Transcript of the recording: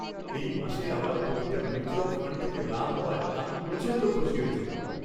এই মাসে আমার প্রতিটা মিউচুয়াল ফাণ্ড থেকে লাভ হওয়ায় আমি প্রচণ্ড খুশি হয়েছিলাম।